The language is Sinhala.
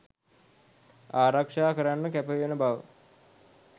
ආරක්ෂා කරන්න කැපවෙන බව